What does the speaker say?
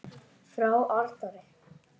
Frá Arnari!